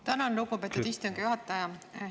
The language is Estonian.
Tänan, lugupeetud istungi juhataja!